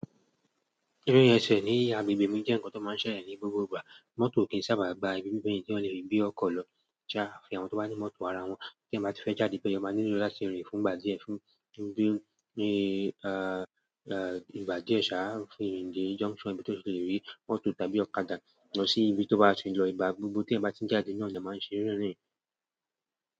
Ririn ese ní agbègbè mi jẹ́ ǹkan tó máa ń ṣẹ eyan ní gbogbo ìgbà. Mọ́tò o kì í sábàa gbà ibi bíbẹ́ tí wọ́n lè rí bí ọkọ̀ lọ. Jà afi àwọn tó bá ní mọ́tò ara wọn, tí ẹyan bá ti fẹ́ jáde be yen ẹyan máa nílò láti rin fún ìgbà díẹ̀, fún ìgbà díẹ̀ ṣáá fi rin dé junction ibi tí ó ti lè rí mọ́t tàbí ọ̀kadà lọ sí ibi tí ó bá ṣe é lọ ìgbà gbogbo tí ẹyan bá ti n jáde ní e máa ń ṣe rírìn.